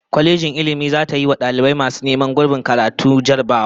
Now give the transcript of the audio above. Kwalejin Ilmin zata yiwa dalibai masu neman guraben karatu jarrabawa